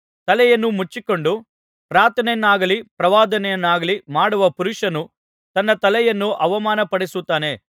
ತಲೆಯನ್ನು ಮುಚ್ಚಿಕೊಂಡು ಪ್ರಾರ್ಥನೆಯನ್ನಾಗಲಿ ಪ್ರವಾದನೆಯನ್ನಾಗಲಿ ಮಾಡುವ ಪುರುಷನು ತನ್ನ ತಲೆಯನ್ನು ಅವಮಾನಪಡಿಸುತ್ತಾನೆ